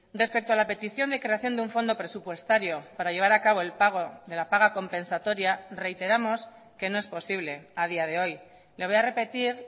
respecto a la petición de creación de un fondo presupuestario para llevar a cabo el pago de la paga compensatoria reiteramos que no es posible a día de hoy le voy a repetir